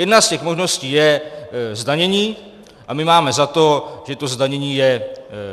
Jedna z těch možností je zdanění a my máme za to, že to zdanění je